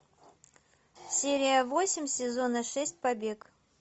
серия восемь сезона шесть побег